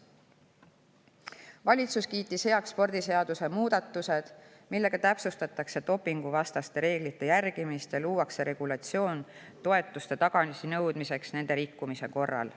Valitsus on kiitnud heaks spordiseaduse muudatused, millega täpsustatakse dopinguvastaste reeglite järgimist ja luuakse regulatsioon toetuste tagasinõudmiseks nende reeglite rikkumise korral.